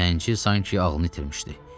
Zənci sanki ağlını itirmişdi.